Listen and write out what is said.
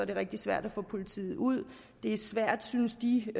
det rigtig svært at få politiet ud det er svært synes de